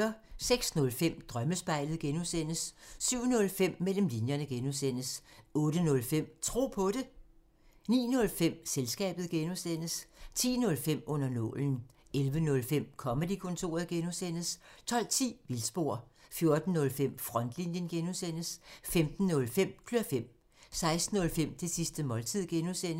06:05: Drømmespejlet (G) 07:05: Mellem linjerne (G) 08:05: Tro på det 09:05: Selskabet (G) 10:05: Under nålen 11:05: Comedy-kontoret (G) 12:10: Vildspor 14:05: Frontlinjen (G) 15:05: Klør fem 16:05: Det sidste måltid (G)